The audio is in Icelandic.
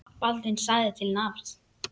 Baldvin sagði til nafns.